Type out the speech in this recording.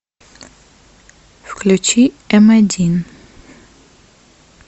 включи м один